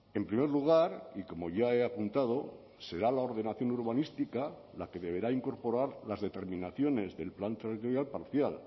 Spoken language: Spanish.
en primer lugar y como ya he apuntado será la ordenación urbanística la que deberá incorporar las determinaciones del plan territorial parcial